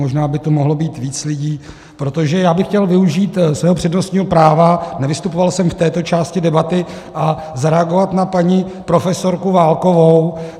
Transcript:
Možná by tu mohlo být víc lidí, protože já bych chtěl využít svého přednostního práva, nevystupoval jsem v této části debaty, a zareagovat na paní profesorku Válkovu.